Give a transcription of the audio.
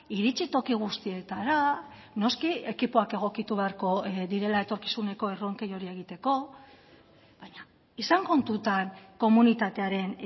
iritsi toki guztietara noski ekipoak egokitu beharko direla etorkizuneko erronkei hori egiteko baina izan kontutan komunitatearen